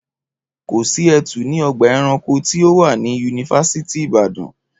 Kò sí etu ní ọgbà ẹranko tí ó wà ní yunifásítì Ìbàdàn